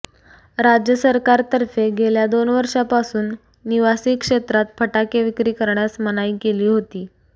राज्य सरकारकतर्फे गेल्या दोन वर्षांपासून निवासी क्षेत्रात फटाके विक्री करण्यास मनाई केली होती